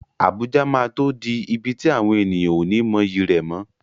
Abuja máa tó di ibi tí àwọn ènìyàn ó ní mọyì rẹ̀ mọ́.